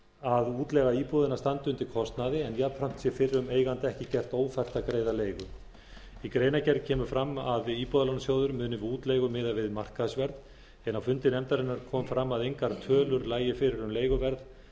að útleiga íbúða standi undir kostnaði en jafnframt sé fyrrum eiganda ekki gert ófært að greiða leigu í greinargerð kemur fram að íbúðalánasjóður muni við útleigu miða við markaðsverð en á fundi nefndarinnar kom fram að engar tölur lægju fyrir um leiguverð